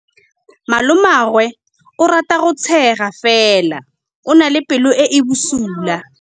Malomagwe o rata go tshega fela o na le pelo e e bosula.